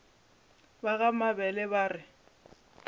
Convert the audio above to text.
ba ga mabele ba re